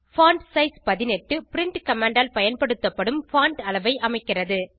font size 18 print command ஆல் பயன்படுத்தப்படும் font அளவை அமைக்கிறது